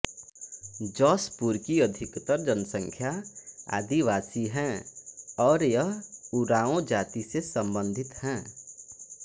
जशपुर की अधिकतर जनसंख्या आदिवासी है और यह उराओं जाति से संबंधित हैं